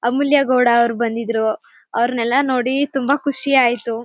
ಅಮೂಲ್ಯ gold ಅವ್ರು ಬಂದಿದ್ರು ಅವ್ರನ್ನೆಲ್ಲ ನೋಡಿ ತುಂಬಾ ಖುಷಿ ಆಯ್ತು.